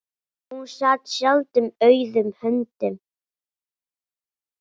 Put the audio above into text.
Hún sat sjaldan auðum höndum.